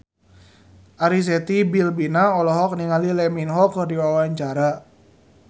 Arzetti Bilbina olohok ningali Lee Min Ho keur diwawancara